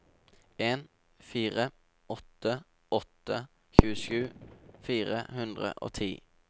en fire åtte åtte tjuesju fire hundre og ti